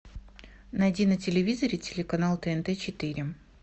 найди на телевизоре телеканал тнт четыре